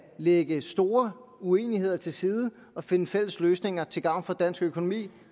lægge store uenigheder til side og findes fælles løsninger til gavn for dansk økonomi